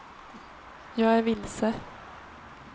jag är vilse